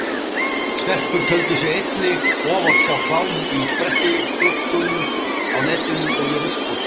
Stelpur töldu sig einnig oft sjá klám í sprettigluggum á netinu og í ruslpósti.